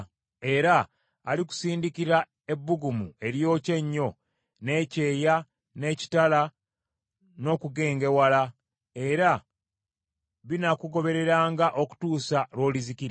Mukama alikulwaza akafuba, n’omusujja n’okubugujja. Era alikusindikira ebbugumu eryokya ennyo, n’ekyeya, n’ekitala, n’okugengewala; era binaakugobereranga okutuusa lw’olizikirira.